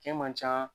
Kɛn man ca